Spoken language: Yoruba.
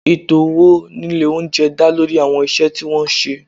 Ètò owó ní ilé oúnjẹ dá lórí àwọn iṣẹ́ tí wọ́n ń ṣe